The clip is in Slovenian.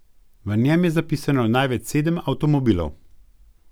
V njem je zapisano največ sedem avtomobilov.